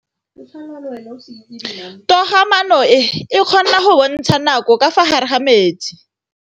Toga-maanô e, e kgona go bontsha nakô ka fa gare ga metsi.